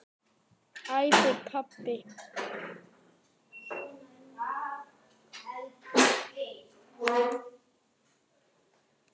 æpir pabbi.